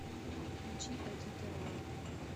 включи адита рао